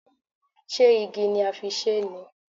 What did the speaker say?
Ṣé igi ni a fi ṣe é ni?